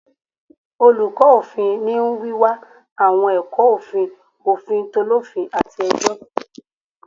Oluko ofin ni wiwa awọn ẹkọ ofin, ofin t’olofin, ati ẹjọ